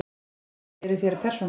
Kennari: Eruð þér persóna?